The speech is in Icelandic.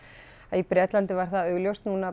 í Bretlandi var það augljóst